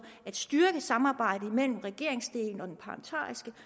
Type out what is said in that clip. at styrke samarbejdet mellem regeringsdelen og at